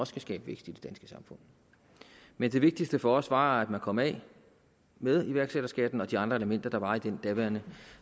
skal skabe vækst i det danske samfund men det vigtigste for os var at man kom af med iværksætterskatten og de andre elementer der var i den gamle